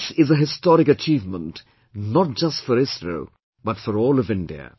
This is a historic achievement for not just ISRO but for all of India